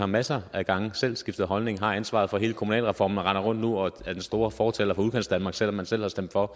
masser af gange selv har skiftet holdning og har ansvaret for hele kommunalreformen og nu render rundt og er den store fortaler for udkantsdanmark selv om man selv har stemt for